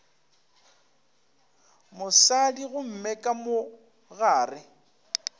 mosadi gomme ka mo gare